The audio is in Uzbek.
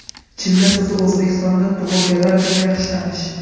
Chilla so‘zi O‘zbekistonda tug‘ilganlar uchun yaxshi tanish.